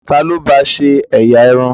Ta ló ba ṣe ẹ̀yà irun?